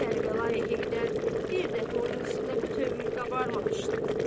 Kərbəlayı Heydər bir dəfə onun üstünə bu cür qabarmamışdı.